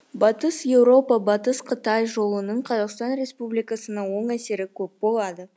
батыс еуропа батыс қытай жолының қазақстан республикасына оң әсері көп болады